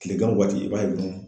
Kilegan waati i b'a ye dɔrɔn